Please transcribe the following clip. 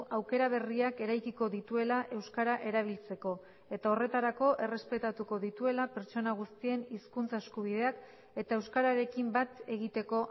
aukera berriak eraikiko dituela euskara erabiltzeko eta horretarako errespetatuko dituela pertsona guztien hizkuntza eskubideak eta euskararekin bat egiteko